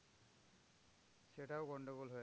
সেটাও গন্ডগোল হয়।